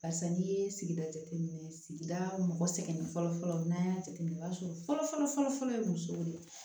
Barisa n'i ye sigida jateminɛ sigida mɔgɔ sɛgɛn fɔlɔfɔlɔ n'an y'a jateminɛ o b'a sɔrɔ fɔlɔ fɔlɔ fɔlɔ ye musow de ye